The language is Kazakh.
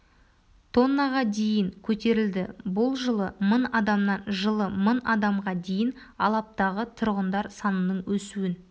тоннаға дейін көтерілді бұл жылы мың адамнан жылы мың адамға дейін алаптағы тұрғындар санының өсуін